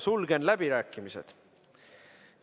Sulgen läbirääkimised.